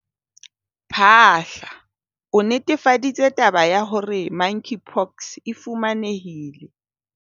Phaahla, o netefaditse taba ya hore Monkeypox e fumanehile